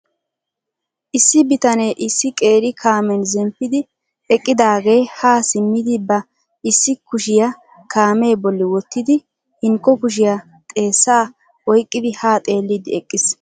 Issi bitanee issi qeeri kaamen zemppidi eqqidaagee ha simmidi ba issi kushiya kaamee bolli wottidi hinkko kushiyaa xeessa oyqqidi ha xeellidi eqqiis.